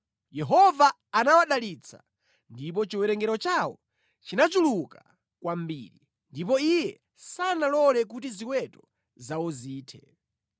Yehova anawadalitsa, ndipo chiwerengero chawo chinachuluka kwambiri, ndipo Iye sanalole kuti ziweto zawo zithe.